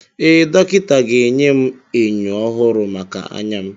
Ee, dọkịta ga-enye m enyo ọhụrụ maka anya m.